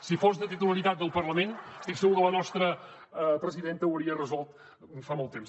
si fos de titularitat del parlament estic segur que la nostra presidenta ho hauria resolt fa molt temps